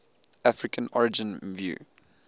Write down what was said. african origin view